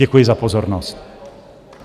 Děkuji za pozornost.